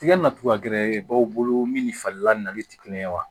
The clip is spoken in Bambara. Tiga na cogoya gɛrɛ b'aw bolo min ni fali la nali tɛ kelen ye wa